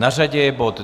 Na řadě je bod